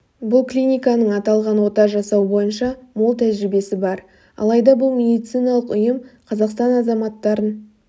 бұл клиниканың аталған ота жасау бойынша мол тәжірибесі бар алайда бұл медициналық ұйым қазақстан азаматтарын